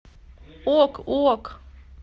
ок ок